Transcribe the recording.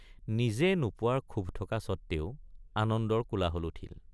নিজে নোপোৱাৰ ক্ষোভ থকা সত্ত্বেও আনন্দৰ কোলাহল উঠিল।